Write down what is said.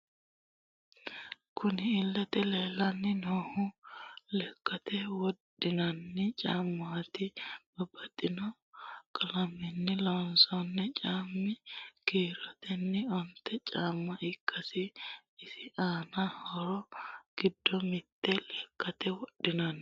Kunni illete leelani noohu lekkate wodhinanni caamati babaxitino qalamenni loonsonni caamati kiiroteni onte caama ikkano isi aano horro giddo mitte lekkate wodhinanni.